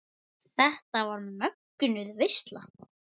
Þetta var mögnuð veisla.